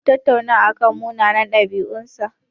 Mun tattauna akan munanan ɗabi'un sa.